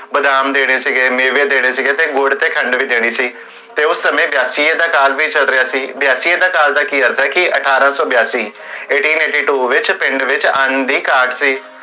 ਬਦਾਮ ਦੇਣੇ ਸੀਗੇ, ਮੇਵੇ ਦੇਣੇ ਸੀਗੇ, ਤੇ ਗੁੜ ਤੇ ਖੰਡ ਵੀ ਦੇਣੀ ਸੀ ਤੇ ਉਸ ਸਮੇ ਬਿਆਸੀ A ਦਾ ਕਾਲ ਵੀ ਚਲ ਰਿਹਾ ਸੀ ਬਿਆਸੀ A ਦਾ ਕਾਲ ਦਾ ਕੀ ਅਰਥ ਹੈ ਕੀ, ਅਠਾਰਾ ਸੋ ਬਿਆਸੀ eighteen eighty two ਵਿਚ, ਪਿੰਡ ਵਿਚ, ਆਨੰ ਦੀ ਕਾਟ ਸੀ